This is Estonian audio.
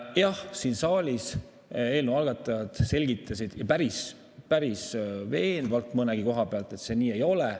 Jah, siin saalis eelnõu algatajad selgitasid, ja päris veenvalt mõnegi koha pealt, et see nii ei ole.